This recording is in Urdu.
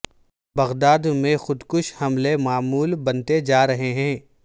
بغداد میں خود کش حملے معمول بنتے جا رہے ہیں